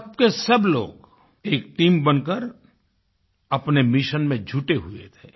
सबकेसब लोग एक टीम बनकर अपने मिशन में जुटे हुए थे